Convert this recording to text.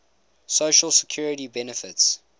social security benefits